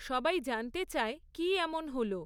সবাই জানতে চায়, কী এমন হল।